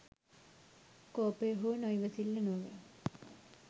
කෝපය හෝ නොඉවසිල්ල නොව